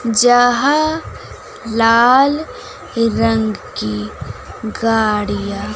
जहां लाल रंग की गाड़िया--